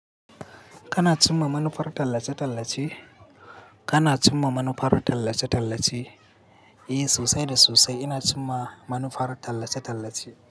Kana cimma manufar tallace-tallace? Kana cimma manufar tallace-tallace? Eh, sosai da sosai ina cimma manufar tallace-tallace.